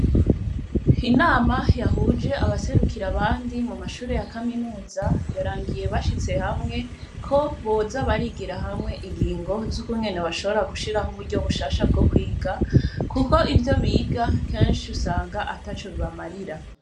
Inama yahuje abaserukira abandi mu mashure yea kaminuza yarangiye bashitse hamwe ko boza barigira hamwe igingo z'ukumwene bashobora gushiraho uburyo bushasha bwo kwiga, kuko ivyo biga kansi usanga ata co bibamarira.